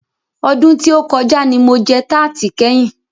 Ọdún tí o kọjá ní mo jẹ tarti kẹ́yin.